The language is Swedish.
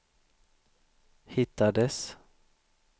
hittades